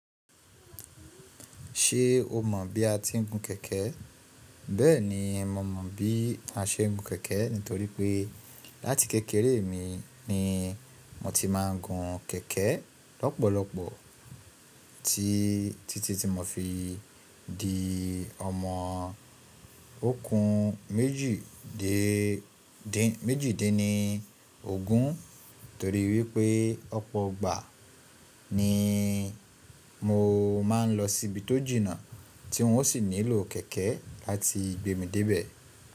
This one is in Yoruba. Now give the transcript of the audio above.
Ṣé o mọ̀ bí a ti ń gun kẹ̀kẹ́? Bẹ́ẹ̀ni, mo mọ̀ bí a ṣe ń gun kẹ̀kẹ́ nítorí pé láti kékeré mi ni mo ti máa ń gun kẹ̀kẹ́ lọ́pọ̀lọpọ̀ tí títí tí mo fi di ọmọ ogún méjì dín ní ogún nítorí wípé ọ̀pọ̀ ìgbà ni mo máa ń lọ síbi tó jìnnà tí wọ́n sì nílò kẹ̀kẹ́ láti gbé mi dé ibẹ̀.